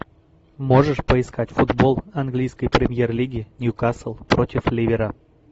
можешь поискать футбол английской премьер лиги ньюкасл против ливера